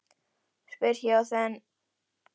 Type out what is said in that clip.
spyr ég og þen lævísi í rödd mína.